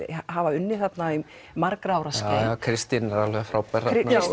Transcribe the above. hafa unnið þarna um margra ára skeið Kristín er alveg frábær